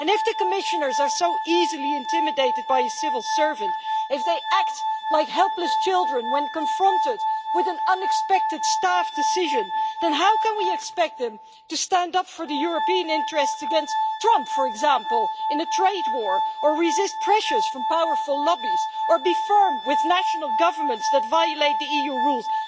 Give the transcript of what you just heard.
If the Commissioners are so easily intimidated by a civil servant, if they act like helpless children when confronted with an unexpected staff decision, then how can we expect them to stand up for the European interests against Trump, for example, in a trade war, or resist pressures from powerful lobbies, or be firm with national governments that violate EU rules?